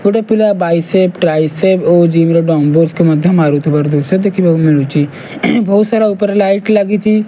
ଗୋଟେ ପିଲା biceps triceps ଓଯିବି ର ଡମ୍ବଲ ମଧ୍ୟ ମାରୁଥିବାର ଦୃଶ୍ୟ ଦେଖିବାକୁ ମିଳୁଛି ବହୁତ ସାରା ଉପରେ ଲାଇଟ ଲାଗିଚି।